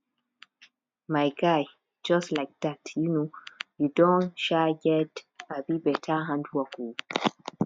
my guy just like dat um you don um get um beta handwork oo